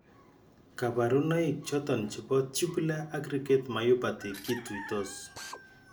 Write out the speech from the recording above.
Kabarunaik choton chebo tubular aggregate myopathy kituitos